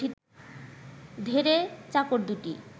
ধেড়ে চাকর দুটি